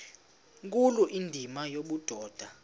nkulu indima yobudoda